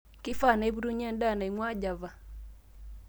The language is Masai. keifaa naipotunye endaa naing'ua Java